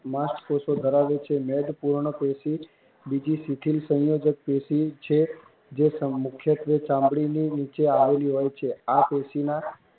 માંસકોષો ધરાવે છે પૂર્ણ પેશી બીજી સિખીલ સંયોજક પેશી છે જે મુખ્યત્વે ચામડીની નીચે આવેલી હોય છે આ પેશીમાં